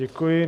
Děkuji.